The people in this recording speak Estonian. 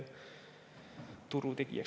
Turutegijaks.